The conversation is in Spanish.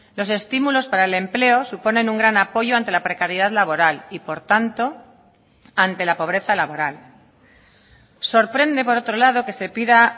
los estímulos para el empleo suponen un gran apoyo ante la precariedad laboral y por tanto ante la pobreza laboral sorprende por otro lado que se pida